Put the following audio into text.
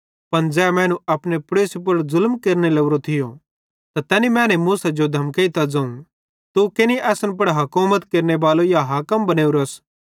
पन ज़ै मैनू अपने पड़ोसी पुड़ ज़ुलम केरने लोरो थियो त तैनी मैने मूसा जो धमकेइतां ज़ोवं तू केनि असन पुड़ हुकुमत केरनेबालो या हाकिम बनेवरोस